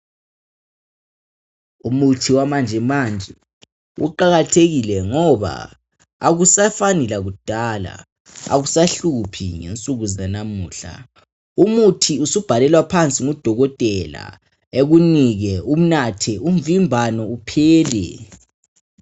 Umuthi wamanje manje uqakathekile ngoba akusafani lakudala awusahluphi ngensuku zanamuhla. Umuthi usubhalelwa phansi ngudokotela ekunike uwunathe umvimbano uphele.